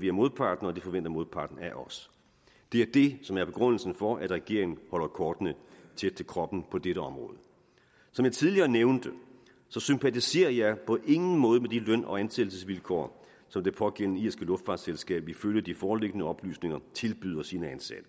vi af modparten og det forventer modparten af os det er det som er begrundelsen for at regeringen holder kortene tæt til kroppen på dette område som jeg tidligere nævnte sympatiserer jeg på ingen måde med de løn og ansættelsesvilkår som det pågældende irske luftfartsselskab ifølge de foreliggende oplysninger tilbyder sine ansatte